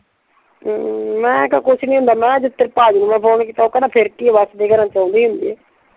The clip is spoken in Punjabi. ਹਮ ਮੈਂ ਕਿਹਾ ਕੁਛ ਨਹੀ ਹੁੰਦਾ ਮੈਂ ਅੱਜ ਤੇਰੇ ਭਾਜੀ ਨੂੰ ਮੈਂ ਫੋਨ ਕੀਤਾ ਉਹ ਕਹਿੰਦਾ ਫੇਰ ਕੀ ਆ ਵੱਸਦੇ ਘਰਾਂ ਚ ਆਉਂਦੇ ਈ ਹੁੰਦੇ ਆ।